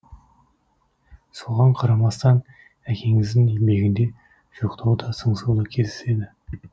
соған қарамастан әкеңіздің еңбегінде жоқтау да сыңсу да кездеседі